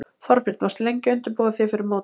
Þorbjörn: Varstu lengi að undirbúa þig fyrir mótið?